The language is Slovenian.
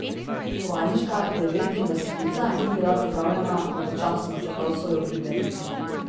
Tovarniška devetindvajsetica ni bila pripravljena pravočasno, čeprav so jo obljubljali.